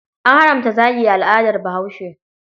An haramta zagi a al'adat Bahaushe.